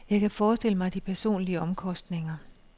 Jeg kan forestille mig de personlige omkostninger.